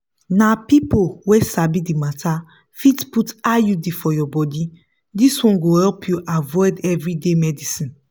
na people wey sabi the matter fit put iud for your body this one go help you avoid everyday medicines.